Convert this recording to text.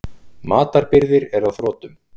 Matarbirgðir eru á þrotum.